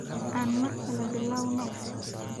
Aan mar kale bilowno.